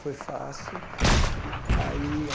Foi fácil. Aí